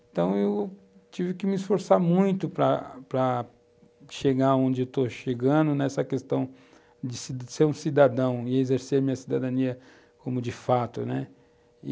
Então eu, tive que me esforçar muito para para chegar onde estou chegando nessa questão de ser um cidadão e exercer a minha cidadania como de fato, né?